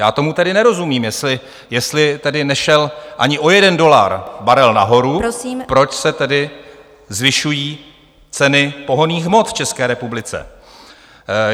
Já tomu tedy nerozumím, jestli tedy nešel ani o jeden dolar barel nahoru, proč se tedy zvyšují ceny pohonných hmot v České republice?